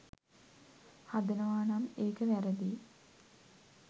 හදනවානම් ඒක වැරදියි.